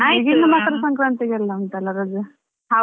ಇನ್ನು ಮಕರ ಸಂಕ್ರಾಂತಿಗಂತೆಲ್ಲಾ ಉಂಟಲ್ಲ ರಜೆ?